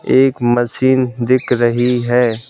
एक मशीन दिख रही है।